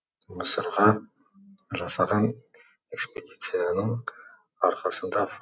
мысырға жасаған экспедицияның арқасында